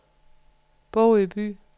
Bogø By